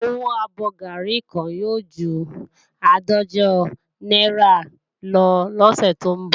Owó abọ́ gàárì kan yóò ju àádọ́jọ náírà lọ lọ́sẹ̀ tó ń bọ̀